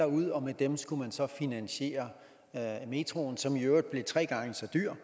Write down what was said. ud og med dem skulle man så finansiere metroen som i øvrigt blev tre gange så dyr